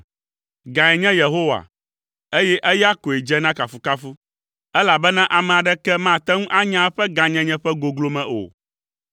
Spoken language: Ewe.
Gãe nye Yehowa, eye eya koe dze na kafukafu, elabena ame aɖeke mate ŋu anya eƒe gãnyenye ƒe goglome o.